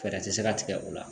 Fɛɛrɛ tɛ se ka tigɛ o la